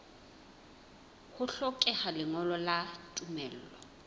ho hlokeha lengolo la tumello